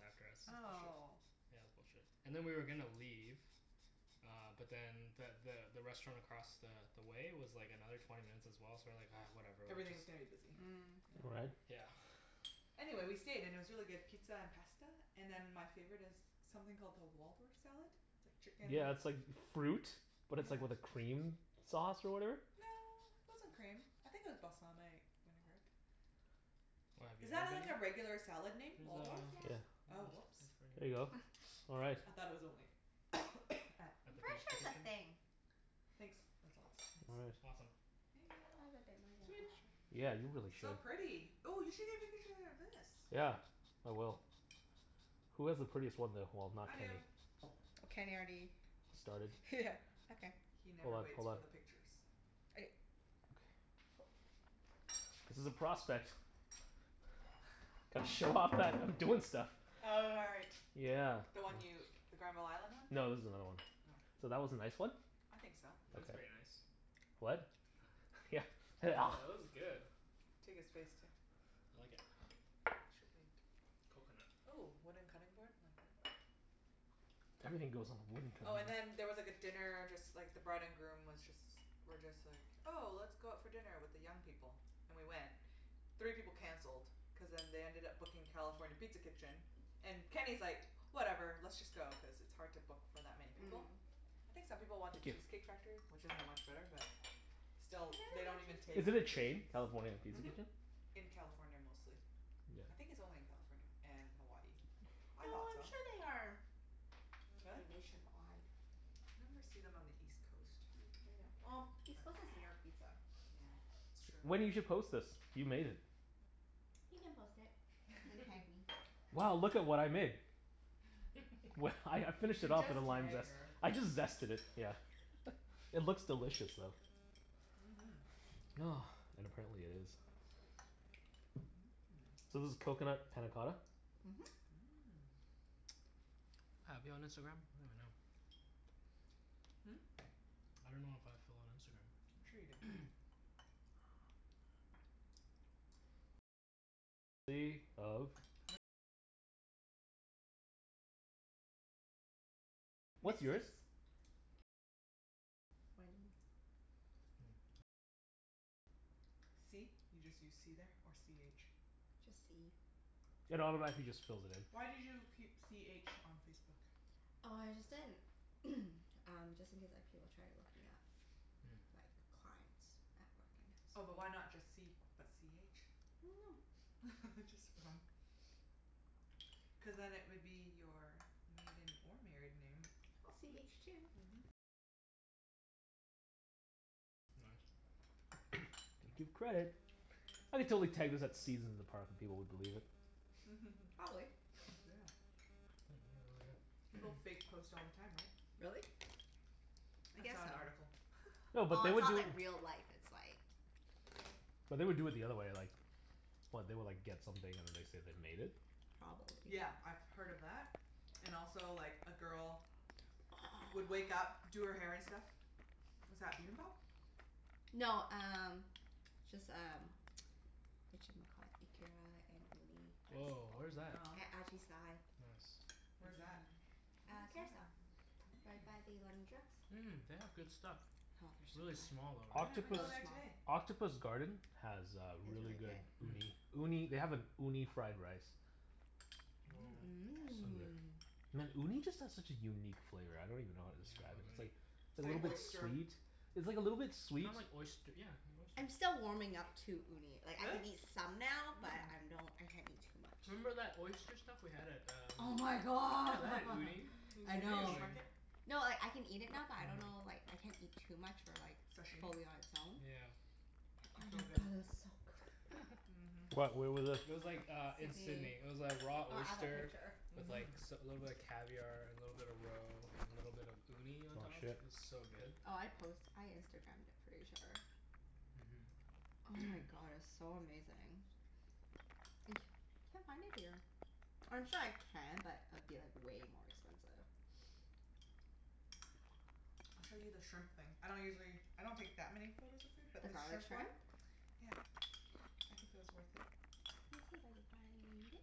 after us. That's bullshit. Oh. Yeah, it was bullshit. And then we were gonna leave uh but then the the the restaurant across the the way was like another twenty minutes as well, so we're like, "Ah, whatever, we're just" Everything's gonna be busy. Mm. Yeah. Right? Yeah. Anyway, we stayed. And it was really good pizza and pasta. And then my favorite is something called the Waldorf salad. It's like chicken Yeah, it's like fruit, but Yeah. it's like with a cream sauce or whatever. No, it wasn't cream. I think it was balsamic vinaigrette. Why, have you Is that heard like a of it? regular salad name? Waldorf? It Yeah. Yes. was Oh, whoops. a There you go. All right. I thought it was only at At I'm the pretty bistro sure it's a kitchen? thing. Thanks. That's lots, All thanks. right. Awesome. Thank I'll you. have a bit more, Sweet. yep, sure. Yeah, you really should. So pretty. Ooh, you should get a pic- picture of this. Yeah, I will. Who has the prettiest one, though? Well, not I Kenny. do. Kenny already Started. Okay. He Hold never up, waits hold for up. the pictures. Okay. Okay. Cool. This is a prospect. Gotta show off that I'm doing stuff. Oh, right. Yeah. The one you, the Granville Island one? No, this is another one. Oh. So, that was a nice one. I think so. That's very Okay. nice. What? Yeah. Oh, this is good. Take his face, too. I like it. Coconut. Ooh, wooden cutting board, like that? Everything goes on the wooden cutting Oh and board. then there was like a dinner, just like the bride and groom was just were just like, 'Oh, let's go out for dinner with the young people." And we went. Three people canceled cuz then they ended up booking California Pizza Kitchen. And Kenny's like, "Whatever, let's just go." Cuz it's hard to book for that many people. Mm. I think some people wanted 'kyou. Cheesecake Factory, which isn't much better but They have still, they don't a even good Cheesecake take Is it a Factory. chain? reservations. California Pizza Mhm. Kitchen? In California, mostly. I Yeah. think it's only in California and Hawaii. I No, thought so. I'm sure they are Really? nationwide. You never see them on the east coast. Mm maybe I'm, well, east coast is New York Pizza. Yeah, it's true. Wenny, you should post this. You made it. You can post it. And tag me. Wow, look at what I made. Well, I I You finished can it off just with the lime tag zest. her. I just zested it, yeah. It looks delicious, though. Mhm. And apparently it is. Mmm. So this is coconut panna cotta? Mhm. Mmm. I have you on Instagram? I don't even know. Hmm? I dunno if I have Phil on I'm sure you do. Instagram. What's Mrs. yours? Wenny. C? You just use c there, or c h? Just c. It automatically just fills it in. Why did you keep c h on Facebook? Oh, I just didn't um, just in case like people try to look me up. Mm. Like, clients at work, and Oh, but why that's not just c, but c h? I dunno. Just for fun. Cuz then it would be your maiden or married name. C h two. Mhm. Gotta give credit. I could totally tag this at Seasons in the Park and people would believe it. Probably. Yeah. Mmm, really good. People fake post all the time, right? Really? I I guess saw an so. article. No, but Oh, they it's would do not like real life. It's like but they would do it the other way, like What? They would like get something and then they'd say they made it? Probably. Yeah, I've heard of that and also, like, a girl would wake up, Oh. do her hair and stuff. Is that bibimbap? No, um just um Whatchamacallit? Ikara and uni rice bowl. Woah, where's that? Yum. At Ajisai. Yes. Where's that? I think Uh, I saw that Kerrisdale. one. Right by the Mm. London Drugs. Mmm, they have good stuff. Oh, they're so Really good. small though, Why didn't right? we Octopus go Really there small. today? Octopus Garden has uh Is really really good good. uni. Hmm. Uni, they have an uni fried rice. Mmm. Woah. So good. Mmm. Man, uni just has such a unique flavor. I don't even know how to Yeah, I describe love it. It's uni. like It's a like little bit oyster. sweet, it's like a little bit It's sweet kinda like oyst- yeah, they're I'm oysters. still warming up to uni. Like, I Really? can eat some now, but Mm. I'm don't, I can't eat too much. Remember that oyster stuff we had at um Oh my Yeah, that had god. Mm. uni. It was I Fish know. amazing. market? No, like I can eat it now but I don't know Mhm. like, I can't eat too much or like Sashimi? fully on its own. Yeah. But oh It's my so god, good. it's so good. Mhm. What? Where was this? It was like uh in Sidney. Sidney. It was like raw Oh, I have a oyster picture. with like Mhm. s- a little bit of caviar and a little bit of roe and a little bit of uni on Aw, top. It shit. was so good. Oh, I post, I Instagramed it, pretty sure. Mhm. Oh my god, it was so amazing. And c- can't find it here. I'm sure I can but it'd be like way more expensive. I'll show you the shrimp thing. I don't usually, I don't take that many photos of food, but The this garlic shrimp one shrimp? Yeah, I think it was worth it. Let me see if I can find it.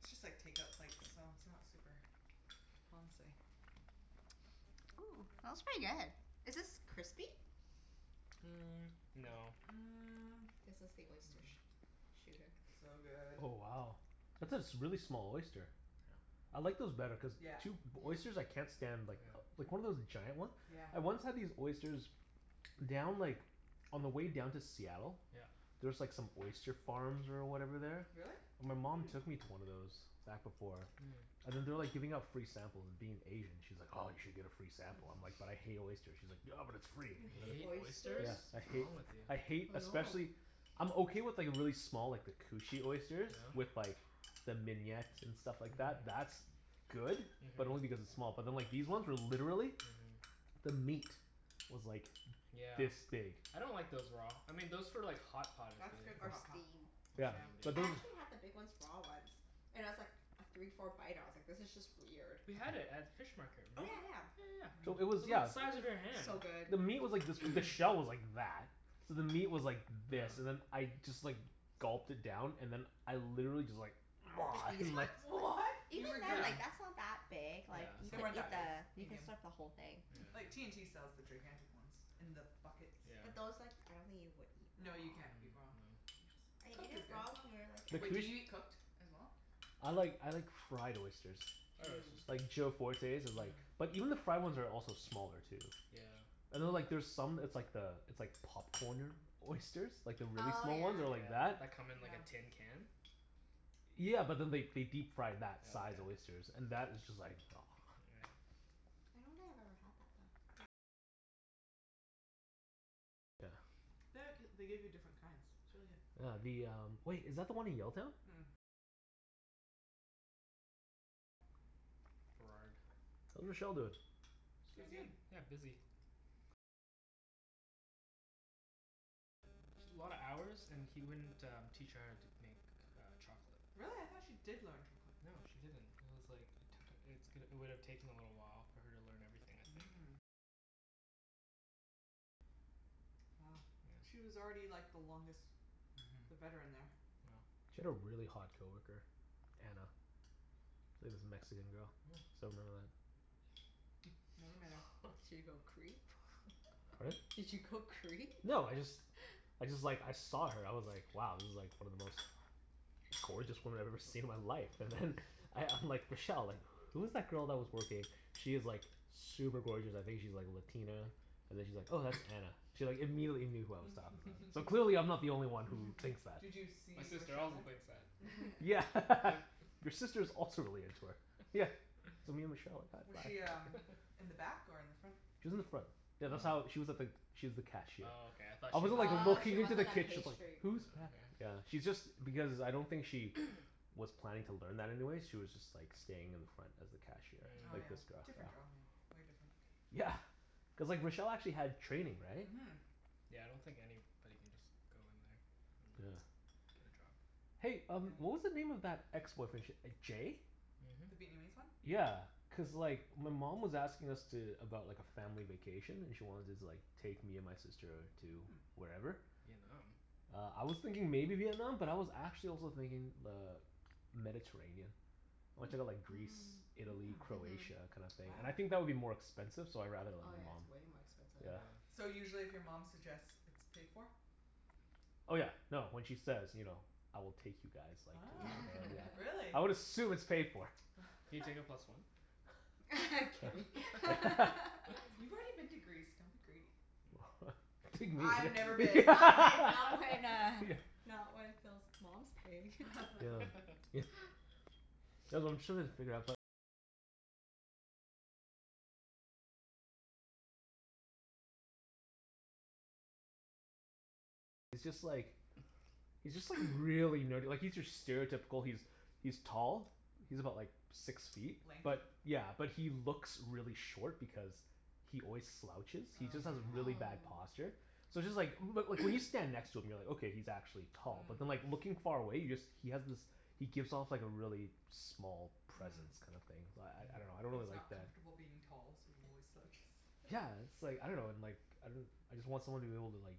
It's just like take-out plates so it's not super fancy. Ooh, that was pretty good. Is this crispy? Mm, no. Mm. This was the Mm- oyster mm. sh- shooter. So good. Oh, wow. That's a s- a really small oyster. Yeah. I like those better cuz Yeah. two, oysters Yeah. I can't stand like Yeah. like one of those giant one? Yeah. I once had these oysters down like, on the way down to Seattle. Yeah. There's like some oyster farms or whatever there. Really? My mom took Hmm. me to one of those, back before. Hmm. And then they're Mm. like giving out free samples, and being Asian she's like, "Oh, you should get a free sample." I'm like, "But I hate oysters." She's like, "Yeah, but it's free." You You hate hate oysters? Yeah, oysters? I What's hate, wrong with you? I hate, I know. especially I'm okay with like really small, like the cushy Yeah? oysters. With like the mignonette and stuff like that. That's good. Mhm. But only Mhm. because it's small. But then like these ones were literally Mhm. the meat was like Yeah. this big. I don't like those raw. I mean those for like hot pot is That's good. good for Or hot pot. steam. Or Yeah, Yeah. but steamed, I yeah. then actually had the big ones raw once. And I was like af- three four bite ah I was like this is just weird. We had it at fish market, Oh, remember? yeah yeah. Yeah yeah So yeah. it It Mm. was was, the yeah. size of your hand. So good. The meat was like this b- the shell was like that. So the meat was like Yeah. this and then I just like gulped it down. And then I literally just like Like these ones? What? You Even then, regurg- Yeah. like that's not that big. Yeah, Like, you it's They could weren't not eat that that big. big. the you can Medium. suck the whole thing. Like, Yeah yeah. T&T sells the gigantic ones in the buckets. Yeah. But those like, I don't think you would eat No, raw. you Mm, can't eat no. raw. I ate Cooked is it good. raw when we were like The at Wait, do you a cush- eat cooked as well? I like, I like fried oysters. Fried oyster's Mmm. good. Like Joe Fortes' is like Mm. but even the fried ones are also smaller, too. Yeah. And then like Mhm. there's some, it's like the, it's like popcornered oysters. Like the really Oh, small yeah. ones that are like Yeah. that. That come in like Yeah. a tin can? Yeah, but then they they deep fry Oh that size yeah? oysters. And that is just like Right. The g- they give you different kinds. It's really good. Yeah, the um, wait, is that the one in Yaletown? Burrard. How's Rochelle doin'? She's doing Busy. good. Yeah, busy. Sh- a lot of hours and he wouldn't um teach her how to make uh chocolate. Really? I thought she did learn chocolate. No, she didn't. It was like it took, it's g- it would've taken a little while for her to learn everything, I think. Yeah. Mhm. Yeah. She had a really hot coworker. Anna. It was a Mexican girl. I Mm. still remember that. Never met her. Did you go creep? Pardon? Did you go creep? No, I just I just like, I saw her. I was like, wow, this is like one of the most gorgeous women I've ever seen in my life. And then I I'm like, "Rochelle, like, who is that girl that was working?" "She is like super gorgeous. I think she's like Latina?" And then she's like, "Oh, that's Anna." She like immediately knew who I was talking about. So clearly I'm not the only one who thinks that. Did you My see sister Rochelle also there? thinks that. Yeah. Your sister's also really into her. Yeah. So me and Rochelle Was have she had um in the back or in the front? She was in the front. Oh. Yeah, Oh, that's how, Mm. she was at the, she was the cashier. okay, I thought I she wasn't like worked at Mm. Oh, a she looking into the wasn't a kitchen like Oh, pastry yeah "Who's back" yeah. Yeah, she's just, because I don't think she was planning to learn that anyway. She was just like staying in the front as the cashier. Oh Like yeah. Mm. Different job, yeah. Way different. Yeah. Cuz like Rochelle actually had training, right? Mhm. Yeah, I don't think anybody can just go in there. And Yeah. yeah, get a job. Hey um Yeah. what was the name of that ex-boyfriend? Sh- uh Jay? The Mhm. Vietnamese one? Yeah, cuz like my mom was asking us to, about like a family vacation and she wanted to like take me and my sister to Mm. wherever. Vietnam? Uh, I was thinking maybe Vietnam, but I was actually also thinking uh Mediterranean. I wanna check out Hmm. like Greece, Mm. Italy, Mm. Mhm. Croatia, kinda thing. And Wow. I think that would be more expensive, so I'd rather go Oh, with yeah, it's mom. way more expensive. Yeah. Yeah. So usually if your mom suggests, it's paid for? Oh yeah, no, when she says, you know "I will take you guys," like, Ah, yeah, really? I would assume it's paid for. Can you take a plus one? Kenny. You've already been to Greece. Don't be greedy. Take me. I've never I been. went not when uh not when Phil's mom's paying. Yeah. Yeah. he's just like really nerdy. Like he's your stereotypical, he's he's tall. He's about like six feet. Lanky? But yeah, but he looks really short because he always slouches. He just Oh. has Mm. really bad Oh. posture. So it's just like, but like when you stand next to him you're like, "Okay, he's actually tall." But then Mm. like looking far away, he just, he has this he gives off like a really small Mm. presence kinda thing. So I I dunno, Mm. I don't He's really like not that. comfortable being tall so he always slouches. Yeah, it's like, I dunno and like, I I just want someone to be able to like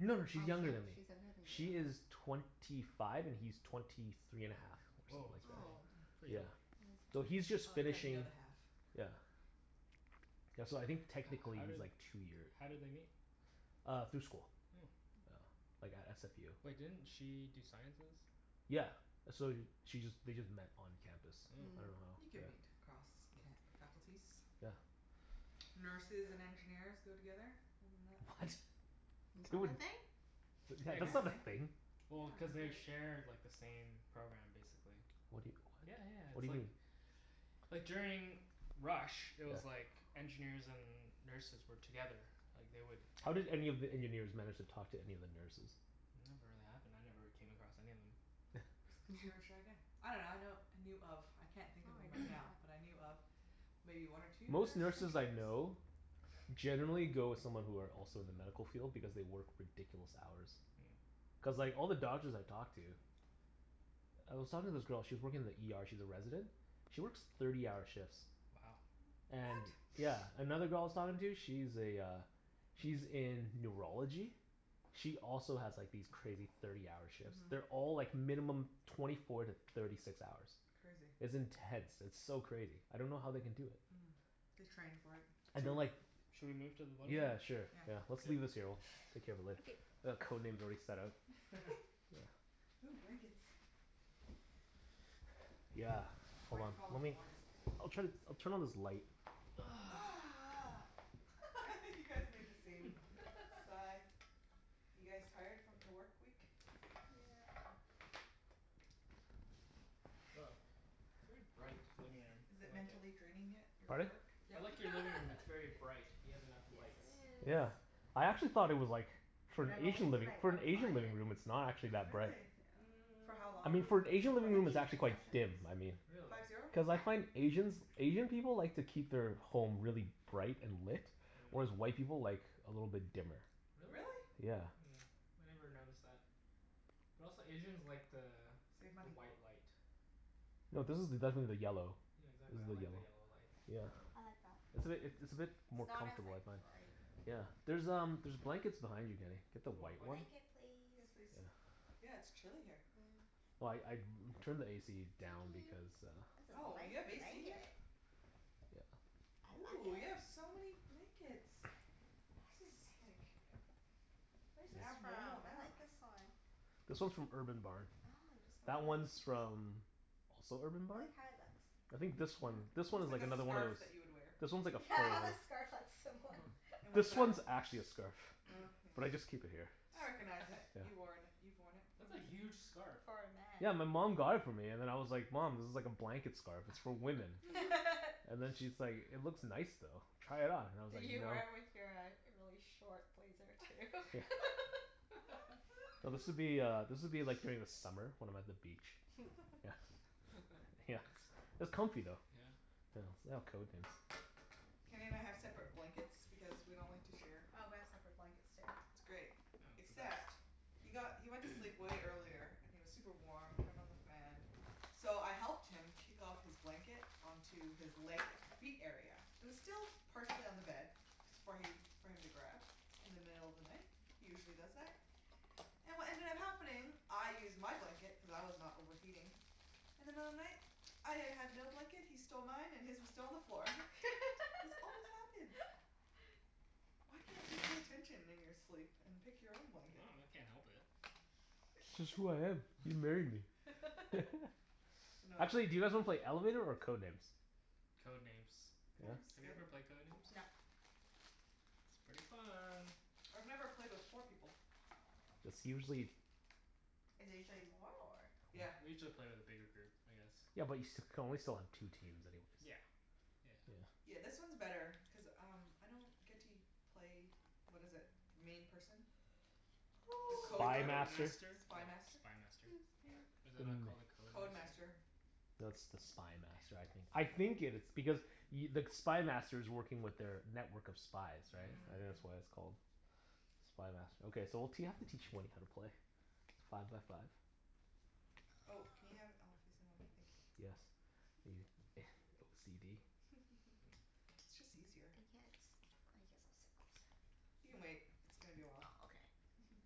No no Oh, sh- she's younger than me. she's younger than She you. is Oh. twenty five and he's twenty three and a half, or Woah, something that's like that. Oh. pretty pretty Yeah. young. So That he's is nice. I just like how you finishing, know the half. yeah Yeah, so I think How technically did he's like two year how did they meet? Uh through school. Oh. Yeah, like at SFU. Wait, didn't she do sciences? Yeah. So she just, they just met on campus. I Oh. dunno Mm. how, You can yeah. meet across ca- Mm. faculties. Yeah. Nurses and engineers go together. Isn't that the What? thing? Is Who that woul- a thing? Yeah, cuz that's not a Apparently, thing. yeah. well, cuz I've they heard. share like the same program, basically. What do you, Yeah yeah, what? What it's do you like mean? like during rush, it Yeah. was like engineers and nurses were together. Like, they would How did any of the engineers manage to talk to any of the nurses? It never really happened. I never really came across any of them. Cuz you're a shy guy. I dunno, I know, I knew of I can't think Oh, of I him right didn't know now, that. but I knew of maybe one or two Most nurse nurses I engineers? know generally go with someone who are also in the medical field because they work ridiculous hours. Mm. Cuz like Mm. all the doctors I've talked to I was talking to this girl, she was working in the ER, she's a resident she works thirty-hour shifts. Wow. What? And yeah. Another girl I was talking to, she's a uh she's in neurology. She also has like these crazy thirty-hour shifts. Mhm. They're all like minimum twenty four to thirty six hours. Crazy. It's intense. It's so crazy. I don't know how they can do it. Mm. They train for it. And then Sho- like should we move to the living Yeah, room? sure. Yeah. Yeah. Let's leave this here. We'll take care of it later. Okay. The Code Name's already set out. Ooh, blankets. Yeah. Hold Why'd on. you follow me? You Lemme, want this one I'll turn, I'll turn on this light. Corner. You guys make the same sigh. You guys tired from the work week? Yeah. Woah, very bright living room. Is it I like it. mentally draining yet? Your Pardon? work? I Yep. like your living room. It's very bright. You have enough Yes, lights. it is. Yeah. I actually thought it was like, for And an I've only Asian seen living, like for an one Asian living client. room it's not actually that bright. Really? Yeah. For how I long mean, for an is the Asian living room Fifty it's actually minute quite sessions. dim, I mean. Really? Five zero? Cuz I Yeah. find Asians, Asian people like to keep their home really bright and lit. Whereas Yeah. white people like a little bit dimmer. Really? Really? Yeah. Hmm. I never noticed that. But also Asians like the Save the money. white light. No, this is definitely the yellow. Yeah, exactly. This is I the like the yellow. yellow light. Yeah. I like that. It's a bit, it it's a bit It's more not as comfortable, like I find. bright. Yeah. There's um, there's blankets behind you Kenny. Get the Do you want white one. blanket? Blanket please? Yes, please. Yeah. Yeah, it's chilly here. Yeah. Well I I turned the AC Thank down you. because uh This is Oh, nice you have AC here? blanket. Yeah. I like Ooh, you have it. so many blankets. This is like Where's this Yeah. abnormal from? I amount. like this one. This one's from Urban Barn. Oh, I'm just That gonna like one's from also Urban I Barn? like how it looks. I think Yeah, Mmm. this one, this one looks is like like a another one of scarf those that you would wear. This one's like a Yeah, I have foldover. a scarf that's similar. And what's This that? one's actually a scarf. Oh, yeah. But I just keep it here. I recognize it. Yeah. You worn, you've worn it That's before. a huge scarf. For a man. Yeah, my mom got it for me and then I was like, "Mom, this is like a blanket scarf. It's for women." And then she's like, "It looks nice though. Try it on." And I was like, Did you "No." wear it with your uh really short blazer, too? Yeah. No, this would be uh, this would be like during the summer when I'm at the beach. Yeah. Yeah. It's it's comfy though. Yeah? Yeah. Let's lay out Code Names. Kenny and I have separate blankets because we don't like to share. Oh, we have separate blankets, too. It's great, Yeah, it's the best. except he got, he went to sleep way earlier, and he was super warm. Turned on the fan. So I helped him kick off his blanket onto his leg, feet area. It was still partially on the bed. S- for he, for him to grab, in the middle of the night. He usually does that. And what ended up happening, I used my blanket cuz I was not overheating. In the middle of the night, I y- had no blanket, he stole mine, and his was still on the floor. This always happens. Why can't you pay attention in your sleep and pick your own I blanket? dunno. I can't help it. It's just who I am. You married me. I know. Actually, do you guys wanna play Elevator or Code Names? Code Names. Code Yeah? Names is Have you good. ever played Code Names? No. It's pretty fun. I've never played with four people. It's usually Is it usually more, or? Yeah. We usually play with a bigger group, I guess. Yeah but you st- you can only still have two teams anyways. Yeah. Yeah. Yeah. Yeah, this one's better cuz um I don't get to u- play, what is it? The main person? The The Spy Coder? Code Master? Master? Oh, Spy Master? Spy Master. 'Scuse me. Is it not called a Code Code Master? Master. No, it's the Spy Master I think. Damn. I think it is. Because y- the Spy Master's working with their network of spies, right? Mm, I think Mm. that's why mhm. it's called Spy Master. Okay, so we'll t- you'll have to teach Wenny how to play. Five by five. Oh, can you have it all facing one way? Thank you. Yes. Are you OCD? It's just easier. I can't s- I guess I'll sit closer. You can wait. It's gonna be a while. Oh, okay.